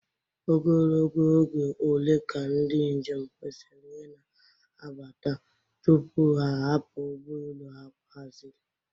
Ogologo oge ole ka ndị njem kwesịrị ịna-abata tupu ha ahapụ ụgbọ elu ha haziri?